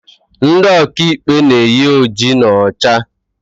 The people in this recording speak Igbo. Ndị ọka ikpe na-eyi oji na ọcha